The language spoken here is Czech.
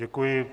Děkuji.